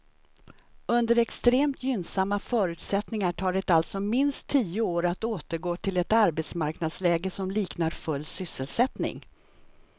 Under extremt gynnsamma förutsättningar tar det alltså minst tio år att återgå till ett arbetsmarknadsläge som liknar full sysselsättning.